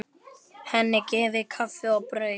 Henni gefið kaffi og brauð.